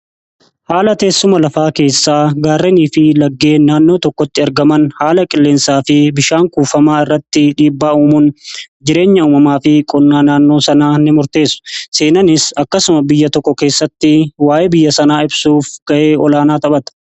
haala teessuma lafaa keessaa gaarrenii fi laggee naannoo tokkotti ergaman haala qilleensaa fi bishaan kuufamaa irratti dhiibbaa'uumuun jireenya uumamaa fi qunnaa naannoo sana ni murteessu seenanis akkasuma biyya tokko keessatti waa'ee biyya sanaa ibsuuf ga'ee olaanaa taphata